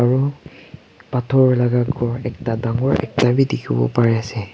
aro phator laka ghor ekta dangor ekta bi dikhiwo parease.